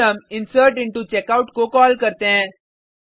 फिर हम इंसर्टिंटोचेकआउट को कॉल करते हैं